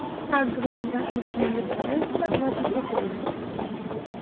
так говорю я максимально стараясь оставаться спокойной